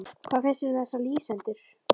Hvað finnst þér um þessa lýsendur?